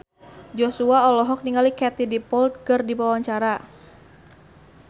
Joshua olohok ningali Katie Dippold keur diwawancara